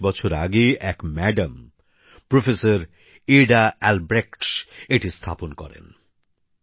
৪০ বছর আগে এক ম্যাডাম প্রফেসর এডা অ্যালব্রেখট এটি স্থাপন করেন